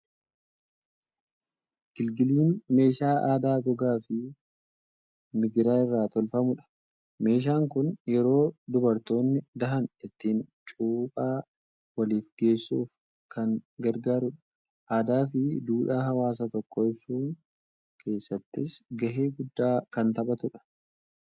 Gilgiliin meeshaa aadaa gogaa fi migira irraa tolfamudha. Meeshaan kun yeroo dubartoonni dahan ittiin cuuphaa waliif geessuuf kan gargaarudha. Aadaa fi duudhaa hawaasa tokkoo ibsuu keessattis gahee guddaa kan taphatudha.